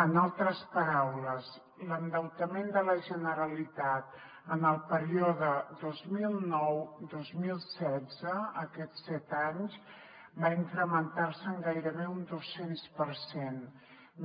en altres paraules l’endeutament de la generalitat en el període dos mil noudos mil setze aquests set anys va incrementarse en gairebé un doscents per cent